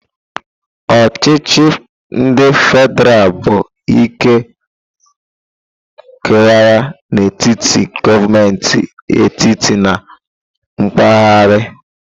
Ochichi ndi fedral bụ ike kewara n'etiti gọọmentị etiti na mpaghara.